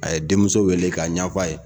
A ye denmuso wele k'a ɲɛfa ye.